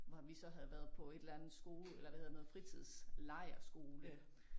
Hvor vi så havde været på et eller andet eller hvad hedder det noget fritidslejrskole